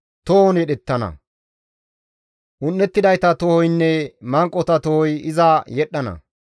Tohon yedhettana; un7ettidayta tohoynne manqota tohoy iza yedhdhana.